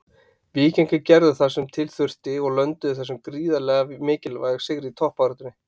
Víkingarnir gerðu það sem til þurfti og lönduðu þessum gríðarlega mikilvæga sigri í toppbaráttunni.